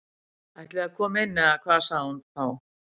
Ætliði að koma inn eða hvað sagði hún þá.